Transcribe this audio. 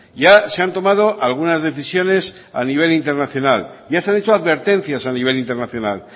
ya se han tomado algunas decisiones a nivel internacional ya se han hecho advertencias a nivel internacional